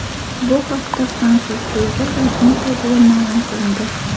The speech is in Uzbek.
Bu haqda fransuz klubi rasmiy saytida ma’lum qilindi .